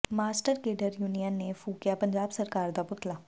master cadre union ਨੇ ਫੂਕਿਆ ਪੰਜਾਬ ਸਰਕਾਰ ਦਾ ਪੁਤਲਾ